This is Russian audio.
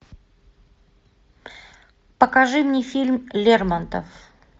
покажи мне фильм лермонтов